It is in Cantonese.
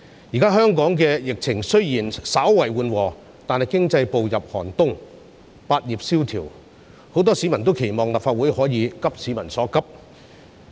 現時香港的疫情雖然稍為緩和，但是，經濟步入寒冬，百業蕭條，很多市民均期望立法會可以急市民所急。